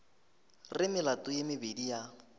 re melato ye mebedi ya